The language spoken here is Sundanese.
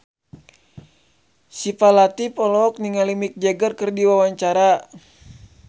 Syifa Latief olohok ningali Mick Jagger keur diwawancara